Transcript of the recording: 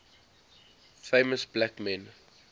famous black men